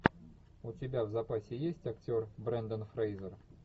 у тебя в запасе есть актер брендан фрейзер